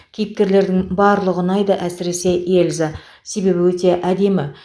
кейіпкерлердің барлығы ұнайды әсіресе эльза себебі өте әдемі